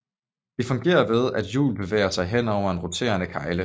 De fungerer ved at hjul bevæger sig hen over en roterende kegle